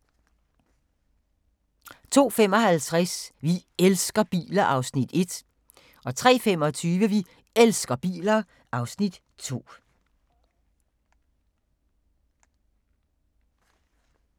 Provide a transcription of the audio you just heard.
02:55: Vi elsker biler (Afs. 1) 03:25: Vi elsker biler (Afs. 2)